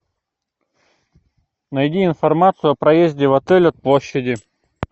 найди информацию о проезде в отель от площади